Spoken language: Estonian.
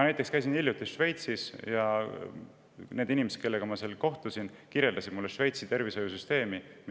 Ma käisin hiljuti Šveitsis ja inimesed, kellega ma seal kohtusin, kirjeldasid mulle Šveitsi tervishoiusüsteemi.